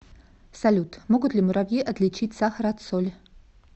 салют могут ли муравьи отличить сахар от соли